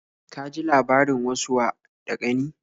Ka ji labarin wasu wa da ƙani?